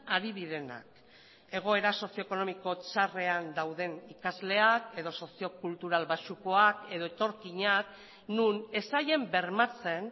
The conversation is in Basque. ari direnak egoera sozio ekonomiko txarrean dauden ikasleak edo sozio kultural baxukoak edo etorkinak non ez zaien bermatzen